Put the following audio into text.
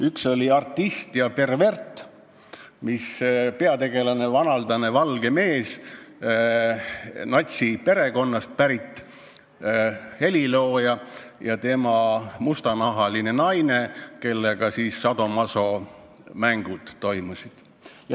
Üks oli "Artist ja pervert", mille peategelased olid vanaldane valge mees, natsiperekonnast pärit helilooja, ja tema mustanahaline naine, kellega siis sadomasomängud toimusid.